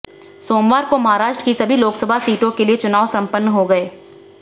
सोमवार को महाराष्ट्र की सभी लोकसभा सीटों के लिए चुनाव संपन्न हो गए